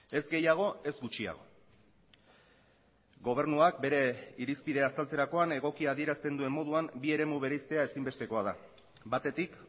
ez gehiago ez gutxiago gobernuak bere irizpidea azaltzerakoan egoki adierazten duen moduan bi eremu bereiztea ezinbestekoa da batetik